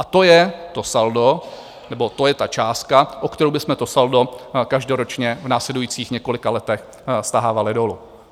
A to je to saldo, nebo to je ta částka, o kterou bychom to saldo každoročně v následujících několika letech stahávali dolů.